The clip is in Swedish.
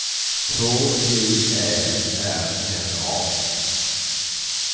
H J Ä R N A